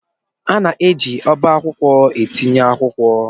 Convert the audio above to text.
A na-eji ọba akwụkwọ etinye akwụkwọ.